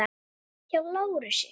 Hjá Lárusi.